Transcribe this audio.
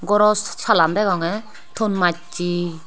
goro salan degongye ton masse.